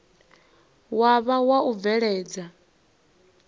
wa vha wa u bveledza